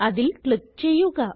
അതിൽ ക്ലിക്ക് ചെയ്യുക